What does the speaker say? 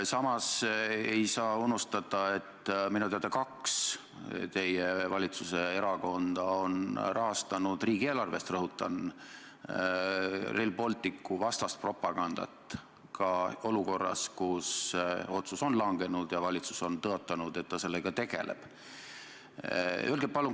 Samas ei tohi unustada, et minu teada kaks teie valitsuse erakonda on rahastanud riigieelarvest, rõhutan, Rail Balticu vastast propagandat ka olukorras, kus otsus on langenud ja valitsus on tõotanud, et ta sellega tegeleb.